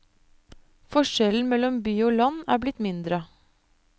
Forskjellen mellom by og land er blitt mindre.